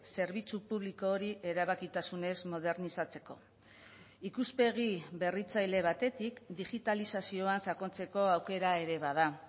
zerbitzu publiko hori erabakitasunez modernizatzeko ikuspegi berritzaile batetik digitalizazioa sakontzeko aukera ere bada